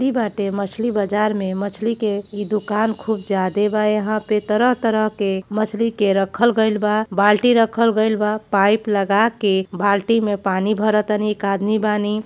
बाटे। मछली बाजार में मछली के ई दुकान खूब ज्यादे बा। यहां पे तरह-तरह के मछली के रखल गइल बा। बाल्टी रखल गइल बा। पाइप लगा के बाल्टी में पानी भर तनी। एक आदमी बानी।